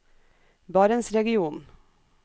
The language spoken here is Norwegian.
barentsregionen